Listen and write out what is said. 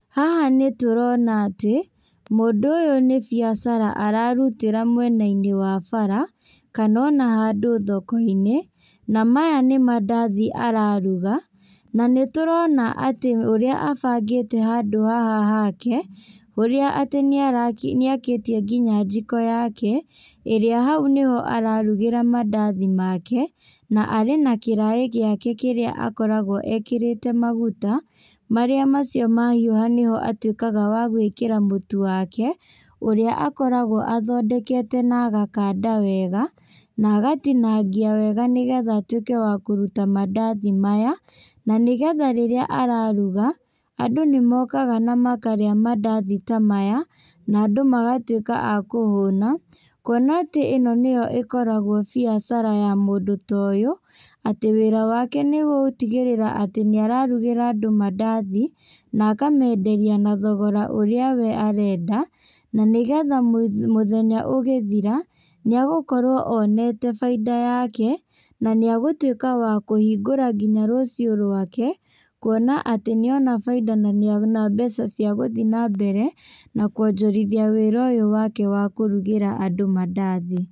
Haha nĩtũrona atĩ, mũndũ ũyũ nĩ biacara ararutĩra mwenainĩ wa bara, kana ona handũ thokoinĩ, na maya nĩ mandathi araruga, na nĩtũrona atĩ ũrĩa abangĩte handũ haha hake, ũrĩa atĩ nĩaraki nĩakĩtie nginya njiko yake, ĩrĩa hau nĩho ararugĩra mandathi make, na arĩ na kĩraĩ gĩake kĩrĩa akoragwo ekĩrĩte maguta, marĩa macio mahiũha, nĩho atuĩkaga wa gwĩkĩra mũtu wake, ũrĩa akoragwo athondekete na agakanda wega, na agatinangia wega nĩgetha atuĩke wa kũruta mandathi maya, na nĩgetha rĩrĩa araruga, andũ nĩmokaga na makarĩa mandathi ta maya, na andũ magatuĩka a kũhũna, kuona atĩ ĩno nĩyo ĩkotagwo biacara ya mũndũ ta ũyũ, atĩ wĩra wake nĩgũtigĩrĩra atĩ nĩararugĩra andũ mandathi, na akamenderia na thogora ũrĩa we arenda, na nĩgetha mũ mũthenya ũgĩthira, nĩagũkorwo onete bainda yake, na nĩagũtuĩka wa kũhingũra nginya rũciũ rwake, kuona atĩ nĩona bainda na nĩona mbeca cia gũthiĩ nambere na kuonjorithia wĩra ũyũ wake wa kũrugĩra andũ mandathi.